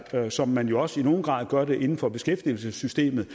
sådan som man jo også i nogen grad gør det inden for beskæftigelsessystemet